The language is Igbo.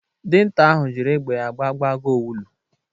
Dinta ahụ jịrị egbe ya gbagbụo Agụ owulu.